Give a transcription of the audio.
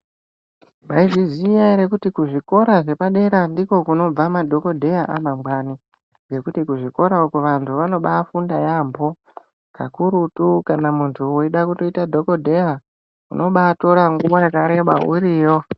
Maizviziya ere kuti kuzvikora zvepadera ndiko kunobva madhokodheya amangwani ngekuti kuzvikora uko vantu vanobaifunda yambo kakuruti muntu weida ita ndokodheya unobatora nguva yakareba uriyo.